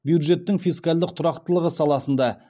бюджеттің фискальдық тұрақтылығы саласында